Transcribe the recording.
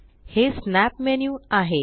हे snap menu आहे